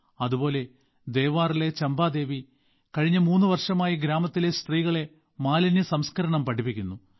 അതുപോലെ ദേവാറിലെ ചമ്പാദേവി കഴിഞ്ഞ മൂന്ന് വർഷമായി ഗ്രാമത്തിലെ സ്ത്രീകളെ മാലിന്യ സംസ്കരണം പഠിപ്പിക്കുന്നു